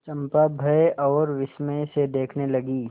चंपा भय और विस्मय से देखने लगी